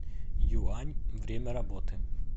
юань время работы